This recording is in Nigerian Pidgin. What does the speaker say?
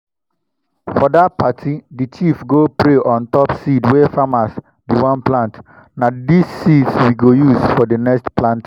for that party the chief go pray on top seed wey farmers bin wan plant. na dis seeds we go use for the next planting.